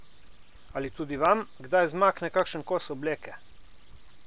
Ali tudi vam kdaj zmakne kakšen kos obleke?